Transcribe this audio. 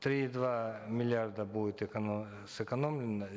три и два миллиарда будет сэкономлено